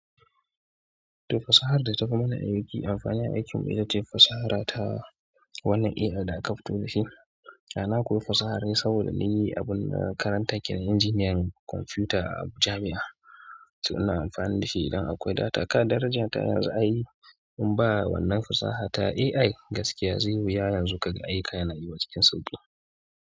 To fasahad data fi mana aiki amfani a aikin mu itace fasahara ta wannan AI da aka fito da shi. A na koyi fasaha rai saboda ni abun na karanta ke engineering computer a jami'a. To ina amfani da shi idan akwai data. Kada daraja ta yanzu a yi, in ba wannan fasaha ta AI gaskiya zai wuya yanzu kaga aika yana yiwa cikin sauƙi.